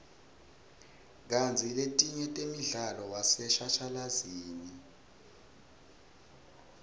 kantsi letinye temdlalo waseshashalazini